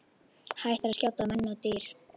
Hættir að skjóta á menn og dýr.